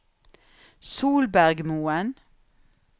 Solbergmoen